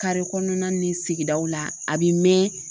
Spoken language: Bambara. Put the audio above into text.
kɔnɔna ni sigidaw la a bɛ mɛn